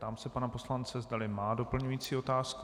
Ptám se pana poslance, zdali má doplňující otázku.